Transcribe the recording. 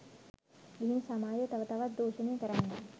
ගිහින් සමාජය තව තවත් දූෂණය කරන්නේ